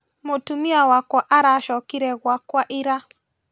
Mũtumia wakwa aracokire gwakwa ira